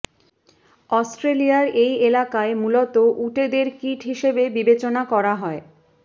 অস্ট্রেলিয়ার এই এলাকায় মূলত উটেদের কীট হিসেবে বিবেচনা করা হয়